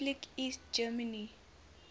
republic east germany